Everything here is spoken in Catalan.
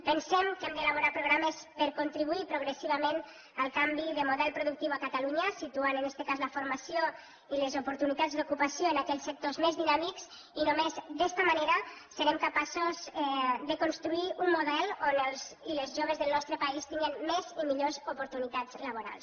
pensem que hem d’elaborar programes per contribuir progressivament al canvi de model productiu a catalunya situant en este cas la formació i les oportunitats d’ocupació en aquells sectors més dinàmics i només d’esta manera serem capaços de construir un model on els i les joves del nostre país tinguen més i millors oportunitats laborals